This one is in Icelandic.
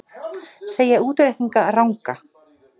Segja útreikninga ranga